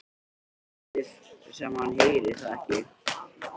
Hann lætur sem hann heyri það ekki.